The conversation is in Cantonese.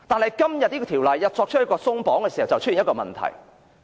然而，《條例草案》作出鬆綁，便引起一個問題。